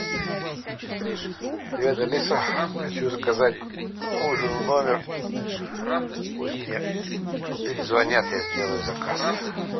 привет алиса хочу заказать ужин в номер пусть мне перезвонят я сделаю заказ